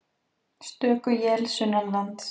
Stöku él sunnanlands